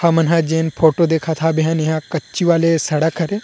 हमन ह जेन फोटो देखत हब एहन कच्ची वाले सड़क हरे।